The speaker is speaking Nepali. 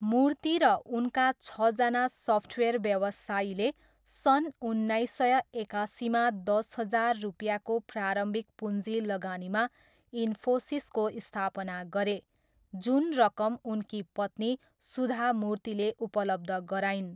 मूर्ति र उनका छजना सफ्टवेयर व्यवसायीले सन् उन्नाइस सय एकासीमा दस हजार रुपियाँको प्रारम्भिक पुँजी लगानीमा इन्फोसिसको स्थापना गरे, जुन रकम उनकी पत्नी सुधा मूर्तिले उपलब्ध गराइन्।